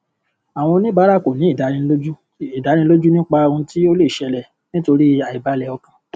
àwọn oníbàárà kò ní ìdánilójú ìdánilójú nípa ohun tí ó lè ṣẹlẹ nítorí aibalẹ ọkàn